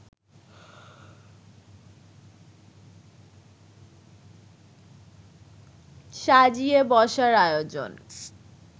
সাজিয়ে বসার আয়োজন